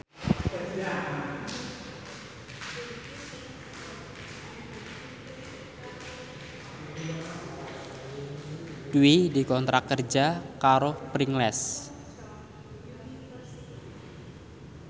Dwi dikontrak kerja karo Pringles